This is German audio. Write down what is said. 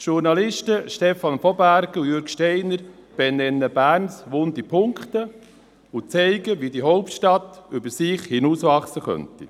Die Journalisten Stefan von Bergen und Jürg Steiner benennen Berns wunde Punkte und zeigen, wie die Hauptstadt über sich hinauswachsen könnte.